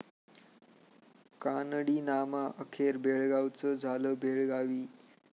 कानडीनामा, अखेर बेळगावचं झालं 'बेळगावी'